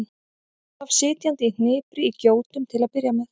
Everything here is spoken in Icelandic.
Hann svaf sitjandi í hnipri í gjótum til að byrja með.